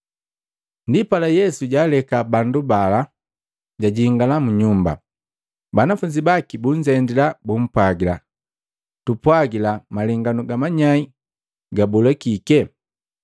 Ndipala Yesu jaaleka bandu bala, jajingala mu nyumba. Banafunzi baki bunzendila, bumpwagila, “Tupwajila malenganu ga manyai gabola kike.”